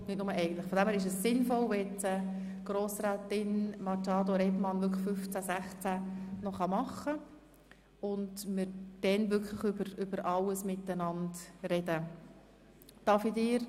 Von dem her ist es sinnvoll, wenn jetzt Grossrätin Machado ihre Anträge zu den Artikeln 15 und 16 noch vorstellt und wir danach über alles zusammen beraten können.